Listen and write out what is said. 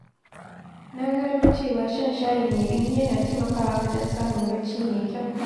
Na gano cewa shan shayi mai ɗumi yana taimakawa wajen samun bacci mai kyau.